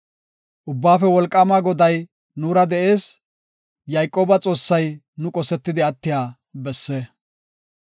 Ubbaafe wolqaama Goday nuura de7ees; Yayqooba Xoossay nu qosetidi attiya besse. Salaha